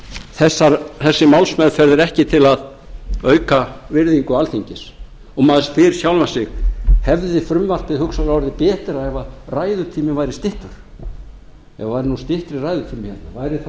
þessi málsmeðferð er ekki til að auka virðingu alþingis og maður spyr sjálfan sig hefði frumvarpið hugsanlega orðið betra ef ræðutíminn væri styttur ef það væri nú styttri ræðutími hérna væri þá